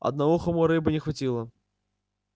одноухому рыбы не хватило